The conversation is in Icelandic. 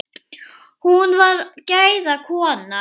Hún var gæða kona.